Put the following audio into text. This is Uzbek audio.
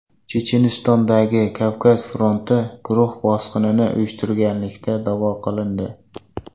Chechenistondagi Kavkaz fronti guruhi bosqinni uyushtirganlikda da’vo qilindi.